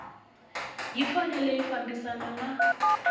yi fanele yi fambisana na